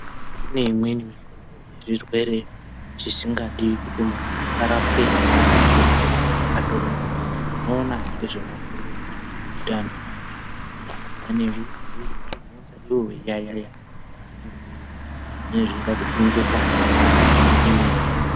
Kune imweni mihlobo yezvirwere zvisingadi kuti muntu arapwe ngemadhogodheya. Asi atoona anoona ngezvemabhuyo ehutano venenge veibhuya neve veizokubvunza. Ivo veiyaiya zvavanenge veibvunza zvine zveida kupingirwa nemhando imweni.